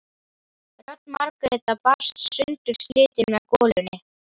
Rödd Margrétar barst sundurslitin með golunni.